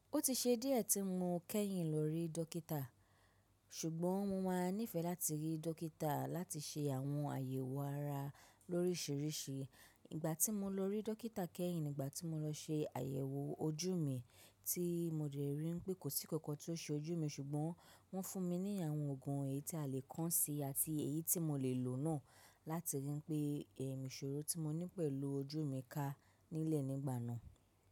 Ó ti ṣe díẹ̀ tí mo kẹ́yìn lọ rí dọ́kítà, ṣùgbọ́n mo máa nífẹ̀ẹ́ láti rí dọ́kítà láti ṣe àwọn àyẹ̀wò ara lórísìíríìsí. Ìgbà tí mo lọ rí dọ́kítà kẹ́yìn ni ìgbà tí mo lọ ṣe àyẹ̀wò ojú mi tí mo dẹ rí i pé kò sí kankan tí ó ṣe ojú mi ṣùgbọ́n wọ́n fún mi ní àwọn òògùn èyí tí a lè kán si àti èyí tí mo lè lò náà láti rí i pé ẹ̀m, ìṣòro tí mo ní pẹ̀lú ojú mi ka nílẹ̀ nígbà náà.